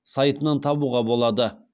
сайтынан табуға болады